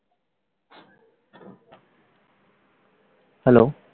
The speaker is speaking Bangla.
hello